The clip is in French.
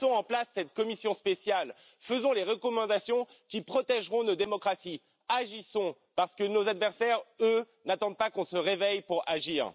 Mettons en place cette commission spéciale, faisons les recommandations qui protégeront nos démocraties et agissons, parce que nos adversaires, eux, n'attendent pas qu'on se réveille pour agir.